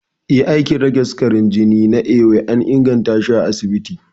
Ee, aikin rage sukarin jini na ewe an ingantashi a asibiti